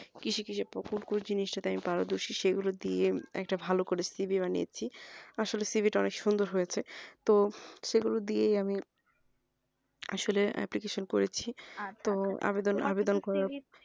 কিসে কিসে জিনিস এ আমি পারো দর্শী সেগুলো দিয়ে একটা ভালো করে CV বানিয়েছি আসলে CV তা অনেক সুন্দর হৈছে তো সেগুলো দিয়েই আমি আসলে application করেছি